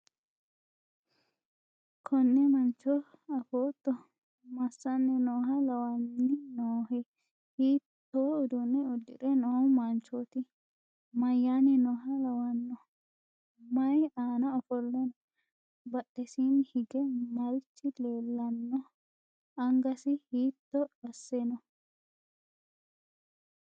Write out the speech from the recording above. konne mancho afootto? massanni nooha lawanni noohe? hiitto uduunne uddi're noo manchooti? mayyaanni nooha lawanno? may aana ofolle no?badhesiinni hige marichi leellanno? angasi hiitto asse no?